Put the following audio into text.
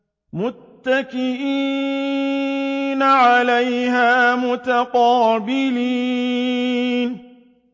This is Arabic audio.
مُّتَّكِئِينَ عَلَيْهَا مُتَقَابِلِينَ